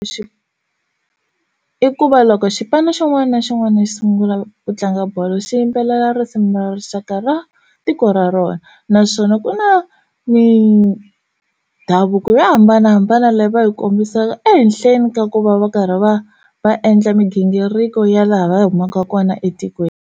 Xi i ku va loko xipano xin'wana na xin'wana xi sungula ku tlanga bolo xi yimbelela risimu ra rixaka ra tiko ra rona naswona ku na mindhavuko yo hambanahambana leyi va yi kombisaka ehenhleni ka ku va va karhi va va endla migingiriko ya laha va humaka kona etikweni.